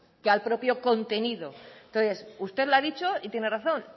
que al propio contenido entonces usted lo ha dicho y tiene razón